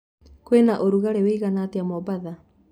kwĩna ũrũgarĩ ũĩgana atĩa mombatha